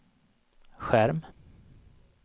skärm